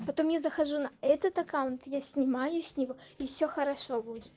потом я захожу на этот аккаунт я снимаю с него и все хорошо будет